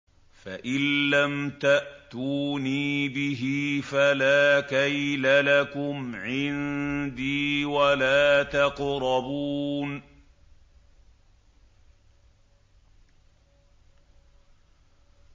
فَإِن لَّمْ تَأْتُونِي بِهِ فَلَا كَيْلَ لَكُمْ عِندِي وَلَا تَقْرَبُونِ